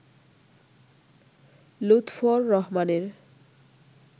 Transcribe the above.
লুৎফর রহমানের